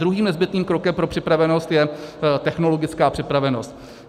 Druhým nezbytným krokem pro připravenost je technologická připravenost.